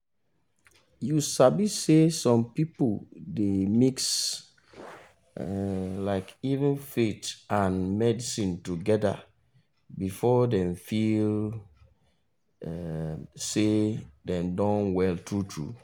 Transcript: you sabi say some pipu dey mix um um faith and medicine togeda before them feel um say dem don well true true